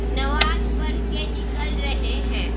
नमाज पढ़ के निकल रहे हैं।